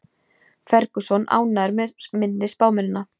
Ferguson ánægður með minni spámennina